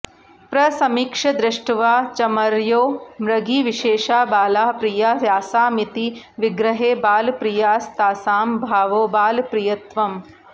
प्रसमीक्ष्य दृष्ट्वा चमर्यो मृगीविशेषाः बालाः प्रिया यासामिति विग्रहे बालप्रियास्तासां भावो बालप्रियत्वम्